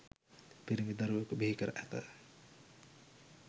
පිරිමි දරුවෙකු බිහි කර ඇත